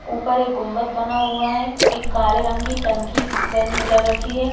ऊपर एक गुम्बद बना हुआ है एक काले रंग की टंकी बनी लग रखी है।